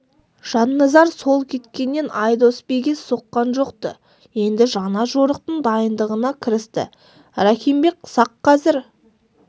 жанназар сол кеткеннен айдос биге соққан жоқ-ты енді жаңа жорықтың дайындығына кірісті рахим бек сақ қазір